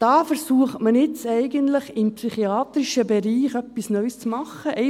Da versucht man jetzt eigentlich im psychiatrischen Bereich etwas Neues zu machen.